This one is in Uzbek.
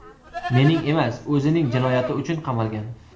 Mening emas, o‘zining jinoyati uchun qamalgan.